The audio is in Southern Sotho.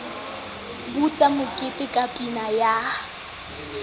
butse mokete ka pina ya